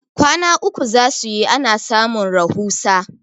kwana uku za su yi ana samun rahusa